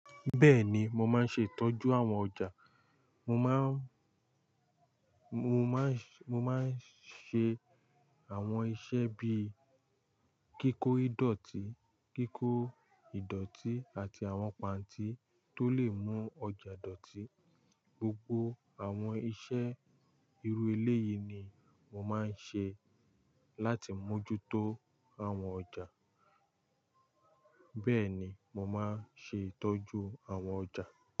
Bẹ́ẹ̀ni, mo máa ń ṣe ìtọ́jú àwọn ọjà. Mo má ń, mo má ń ṣe, mo má ń ṣe àwọn iṣẹ́ bíi kíkó ìdọ̀tí, kíkó ìdọ̀tí àti àwọn pàntí tó lè mú ọjà dọ̀tí. Gbogbo àwọn iṣẹ́ irú ẹlẹ́yi ni mo máa ń ṣe láti mójútó àwọn ọjà. Bẹ́ẹ̀ni, mo máa ń ṣe ìtọ́jú àwọn ọjà.